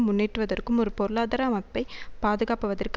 முன்னேற்றுவதற்கும் ஒரு பொருளாதார மப்பை பாதுகாப்பவதற்கு